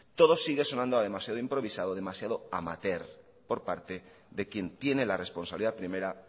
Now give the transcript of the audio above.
todo sigue sonando a demasiado improvisado demasiado amateur por parte de quien tiene la responsabilidad primera